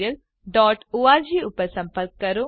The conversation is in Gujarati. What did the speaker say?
અમને જોડાવાબદ્દલ આભાર